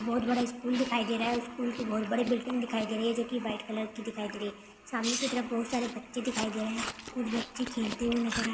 बहुत बड़ा स्कूल दिखाई दे रहा है उस स्कूल की बहुत बड़ी बिल्डिंग दिखाई दे रही है जो की व्हाइट कलर की दिखाई दे रही है सामने की तरफ बहुत सारे बच्चे दिखाई दे रहे है कुछ बच्चे खेलते हुए नजर आ--